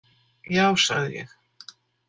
Já, sagði ég.